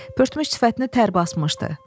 Pörtmüş sifətini tər basmışdı.